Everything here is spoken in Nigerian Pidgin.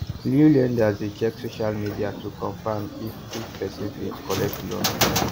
new lenders dey check social media to confirm if if person fit collect loan